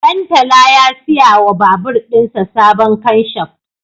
Ɗantala ya siya wa babur ɗinsa sabon kanshaf